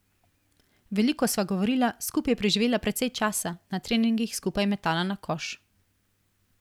Veliko sva govorila, skupaj preživela precej časa, na treningih skupaj metala na koš ...